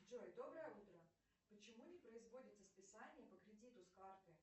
джой доброе утро почему не производится списание по кредиту с карты